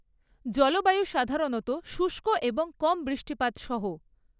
জলবায়ু সাধারণত শুষ্ক এবং কম বৃষ্টিপাত সহ।